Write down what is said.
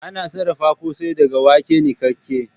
Ana sarafa kosai daga wake nikake